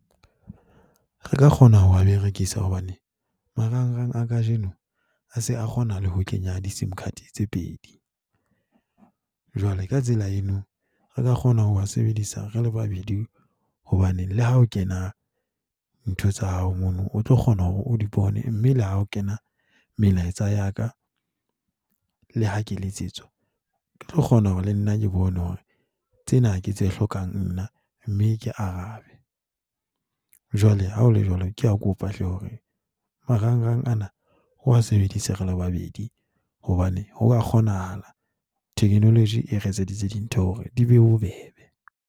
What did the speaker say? Re ka kgona ho wa berekisa hobane marangrang a kajeno ha se a kgona le ho kenya di-sim card tse pedi. Jwale ka tsela eno re ka kgona ho wa sebedisa re le babedi. Hobane le ha o kena ntho tsa hao mono, o tlo kgona hore o di bone mme le ha ho kena melaetsa ya ka. Le ha ke letsetswa, ke tlo kgona hore le nna ke bone hore tsena ke tse hlokang nna mme ke arabe. Jwale ha ho le jwalo ke a kopa hle, hore marangrang ana re wa sebedisa re le babedi hobane ho ka kgonahala. Technology e re etseditse dintho hore di be bobebe.